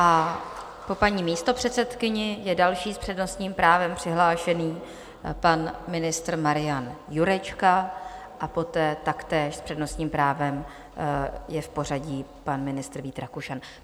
A po paní místopředsedkyni je další s přednostním právem přihlášený pan ministr Marian Jurečka a poté taktéž s přednostním právem je v pořadí pan ministr Vít Rakušan.